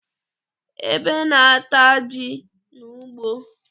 Ebe na-ata ji n'ugbo.